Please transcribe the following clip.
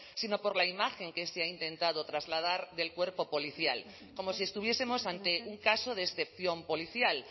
sino por la imagen que se ha intentado trasladar del cuerpo policial como si estuviesemos ante un caso de excepción policial